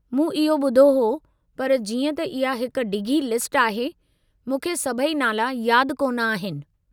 मूं इहो ॿुधो हो, पर जीअं त इहा हिक डिघी लिस्ट आहे, मूंखे सभई नाला यादि कोन आहिनि।